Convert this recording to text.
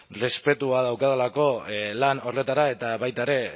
respetua daukadalako lan horretara eta baita ere